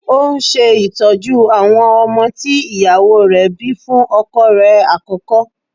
Ó ń ṣe ìtọ́jú àwọn ọmọ tí ìyàwó rẹ̀ bíi fún ọkọ rẹ̀ àkọ́kọ́.